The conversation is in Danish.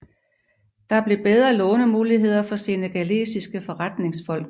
Der blev bedre lånemuligheder for senegalesiske forretningsfolk